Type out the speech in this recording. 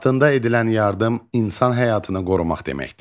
Vaxtında edilən yardım insan həyatını qorumaq deməkdir.